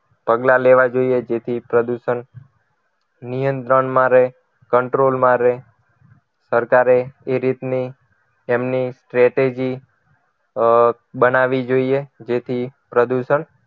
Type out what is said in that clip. પગલાં લેવા જોઈએ જેથી પ્રદૂષણ નિયંત્રણમાં રહે control માં રહે સરકારે એ રીતની એમની strategy બનાવી જોઈએ જેથી પ્રદૂષણ